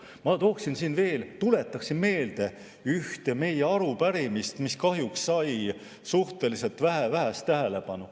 Ma tuletan meelde ühte meie arupärimist, mis kahjuks sai suhteliselt vähe tähelepanu.